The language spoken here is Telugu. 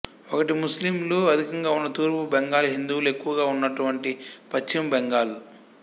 ఒకటి ముస్లింలు అధికంగా ఉన్న తూర్పు బెంగాల్ హిందువులు ఎక్కువగా ఉన్నటువంటి పశ్చిమ బెంగాల్